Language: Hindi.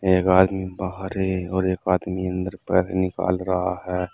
एक आदमी बाहर है और एक आदमी अंदर पैर निकाल रहा है।